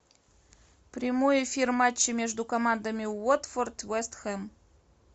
прямой эфир матча между командами уотфорд вест хэм